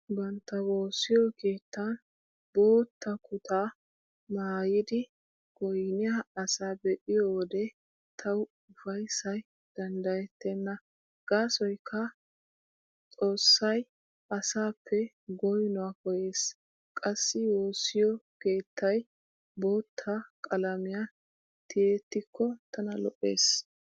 Bantta woossiyo keettan bootta kuttaa maayidi goynniyaa asa be'iyo wode tawu ufayssay danddayettenna gaasoykka xoossay asaappe goynuwaa koyyees. Qassi woossiyo keettay bootta qalamiyan tiyettikko tana lo'ees.